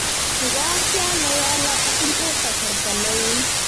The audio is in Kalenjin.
Ngaa kianai ale atinye kasarta ne uui."